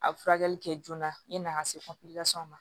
A bɛ furakɛli kɛ joona yani a ka se ma